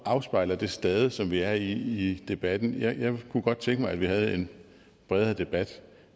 afspejler det stade som vi er på i debatten jeg kunne godt tænke mig at vi havde en bredere debat